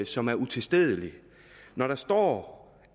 som er utilstedelig når der står